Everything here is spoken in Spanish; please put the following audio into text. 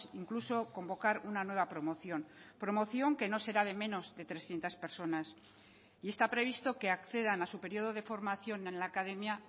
incluso convocar una nueva promoción promoción que no será de menos de trescientos personas y está previsto que accedan a su periodo de formación en la academia